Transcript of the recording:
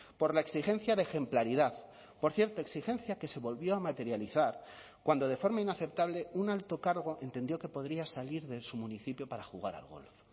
por la exigencia de ejemplaridad por cierto exigencia que se volvió a materializar cuando de forma inaceptable un alto cargo entendió que podría salir de su municipio para jugar al golf